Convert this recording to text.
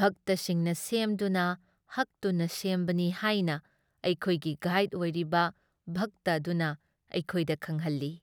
ꯚꯛꯇꯁꯤꯡꯅ ꯁꯦꯝꯗꯨꯅ ꯍꯛꯇꯨꯅ ꯁꯦꯝꯕꯅꯤ ꯍꯥꯏꯅ ꯑꯩꯈꯣꯏꯒꯤ ꯒꯥꯏꯗ ꯑꯣꯏꯔꯤꯕ ꯚꯛꯇ ꯑꯗꯨꯅ ꯑꯩꯈꯣꯏꯗ ꯈꯪꯍꯜꯂꯤ ꯫